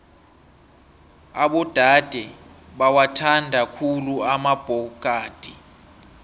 abodade bawathanda khulu amabhokadi